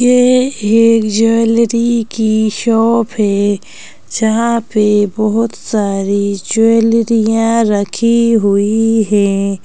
ये एक ज्वेलरी की शॉप है जहा पे बहोत सारी ज्वैलरिया रखी हुई है।